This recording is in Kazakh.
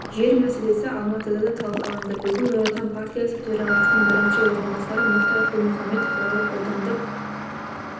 жер мәселесі алматыда да талқыланды бүгін нұр отан партиясы төрағасының бірінші орынбасары мұхтар құл-мұхаммед қалалық аудандық